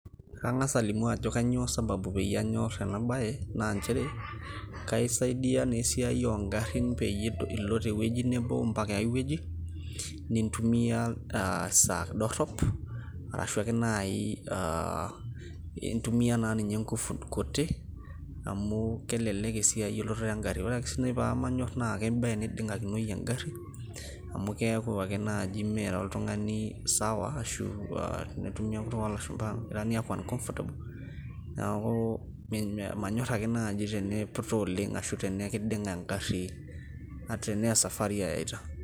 kang'as alimu ajo kainyoo sababu pee anyor ena bae naanchere kaasaidia naa esiai oo garin peyie ilo teweji mpaka enkai weji nitumia esaaa dorop, ashuu ake naaji intumia inkufu kutik amu kelelek esiai elototo egari, ore ake sii pee manyor naa kiba teneding'akinoi egari amu keeku ake naaji mira oltungani sawa ashu tekuk ooshumba uncomfortable, neeku manyor ake naaji teneputa oleng ashu teneeku kiding'a egari tenaa esafari eita.